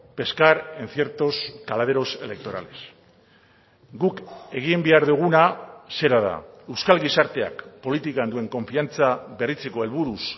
pescar en ciertos caladeros electorales guk egin behar duguna zera da euskal gizarteak politikan duen konfiantza berritzeko helburuz